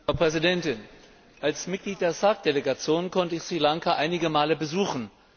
Frau Präsidentin! Als Mitglied der SAARC Delegation konnte ich Sri Lanka einige Male besuchen.